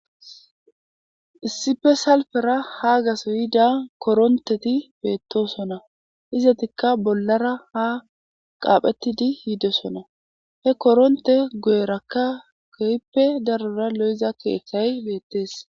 issife salfera haagaso yida koronteti beettosonna izatikka bollara ha qaaphettidi yidosona he koronte goyerakka goyppe darora lo7iza keeththay beettees